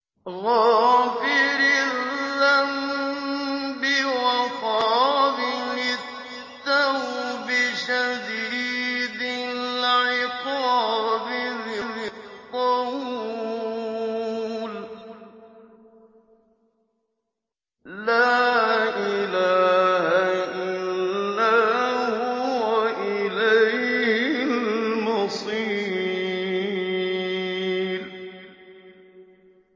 غَافِرِ الذَّنبِ وَقَابِلِ التَّوْبِ شَدِيدِ الْعِقَابِ ذِي الطَّوْلِ ۖ لَا إِلَٰهَ إِلَّا هُوَ ۖ إِلَيْهِ الْمَصِيرُ